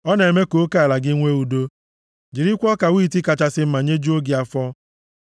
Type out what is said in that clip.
Ọ na-eme ka oke ala gị nwee udo, jirikwa ọka wiiti kachasị mma nyejuo gị afọ.